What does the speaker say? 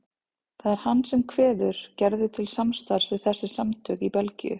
Það er hann sem kveður Gerði til samstarfs við þessi samtök í Belgíu.